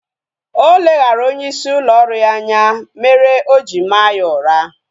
Oleghara onye isi ụlọ ọrụ ya anya mere oji maa ya ụra